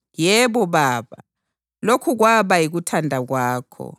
Yebo Baba, lokhu kwaba yikuthanda kwakho.